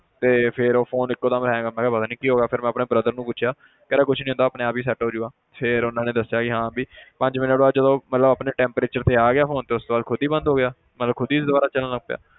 ਤੇ ਫਿਰ ਉਹ phone ਇੱਕੋ ਦਮ hang ਮੈਂ ਕਿਹਾ ਪਤਾ ਨੀ ਕੀ ਹੋ ਗਿਆ ਫਿਰ ਮੈਂ ਆਪਣੇ brother ਨੂੰ ਪੁੱਛਿਆ ਕਹਿੰਦਾ ਕੁਛ ਨੀ ਹੁੰਦਾ ਆਪਣੇ ਆਪ ਹੀ set ਹੋ ਜਾਊਗਾ ਫਿਰ ਉਹਨਾਂ ਨੇ ਦੱਸਿਆ ਕਿ ਹਾਂ ਵੀ ਪੰਜ ਮਿੰਟ ਬਾਅਦ ਜਦੋਂ ਉਹ ਮਤਲਬ ਆਪਣੇ temperature ਤੇ ਆ ਗਿਆ ਤੇ ਉਸ ਤੋਂ ਬਾਅਦ ਖੁੱਦ ਹੀ ਬੰਦ ਹੋ ਗਿਆ ਮਤਲਬ ਖੁੱਦ ਹੀ ਦੁਬਾਰਾ ਚੱਲਣ ਲੱਗ ਪਿਆ